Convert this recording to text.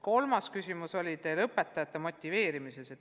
Kolmas küsimus oli õpetajate motiveerimise kohta.